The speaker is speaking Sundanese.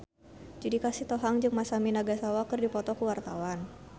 Judika Sitohang jeung Masami Nagasawa keur dipoto ku wartawan